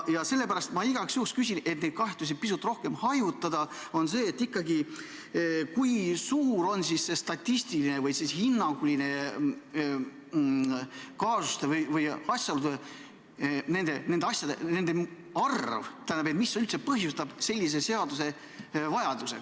Ja sellepärast ma igaks juhuks küsin – et neid kahtlusi pisut hajutada –, kui suur statistiliselt või hinnanguliselt ikkagi on selliste kaasuste või nende asjade arv, mis üldse põhjustavad sellise seaduse vajaduse.